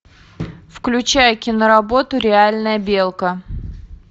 включай киноработу реальная белка